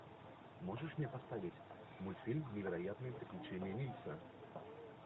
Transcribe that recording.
можешь мне поставить мультфильм невероятные приключения нильса